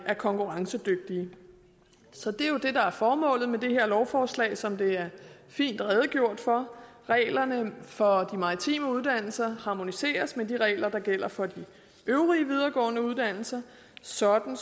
er konkurrencedygtige så det er jo det der er formålet med det her lovforslag som det er fint redegjort for reglerne for maritime uddannelser harmoniseres med de regler der gælder for de øvrige videregående uddannelser sådan